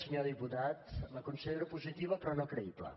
senyor diputat la considero positiva però no creïble